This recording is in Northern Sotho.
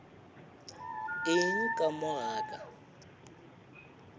eng ka mo ga ka